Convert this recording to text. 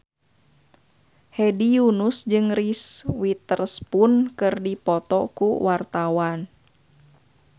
Hedi Yunus jeung Reese Witherspoon keur dipoto ku wartawan